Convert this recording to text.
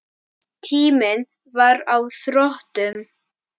Tíminn var á þrotum.